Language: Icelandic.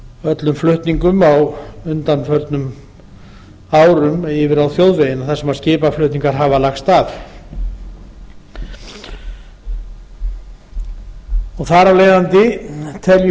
öllum flutningum á undanförnum árum yfir á þjóðvegina þar sem skipaflutningar hafa lagst af þar af leiðandi teljum við